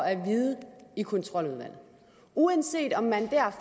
at vide i kontroludvalget uanset om man der